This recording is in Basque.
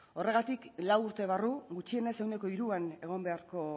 horregatik lau urte barru gutxienez ehuneko hiruan egon beharko